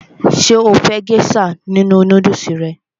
Ṣé o fẹ́ gésà nínu nódùsù rẹ?